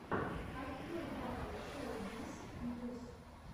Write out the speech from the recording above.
открой батл шоубиз ньюс